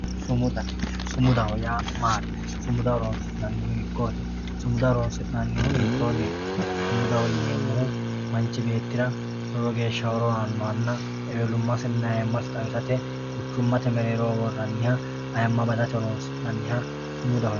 sumuda sumudaho yaa maati? sumuda horonsi'nannihu hiikkooti? sumuda horonsi'nannihu hiittoonniti? sumudaho yineemmohu manchi beettira lowo geeshsha horo annohanna ewelummasinna ayiimmasi xawisate buuxate mereeroho worrannihanna ayiimma xawisate horonsi'nanniha sumudaho yineemmo